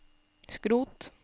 skrot